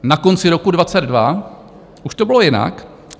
Na konci roku 2022 už to bylo jinak.